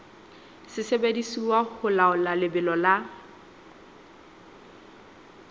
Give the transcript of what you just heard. sebediswa ho laola lebelo la